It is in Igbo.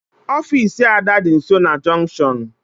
Ofisi Ada dị nsọ na junktion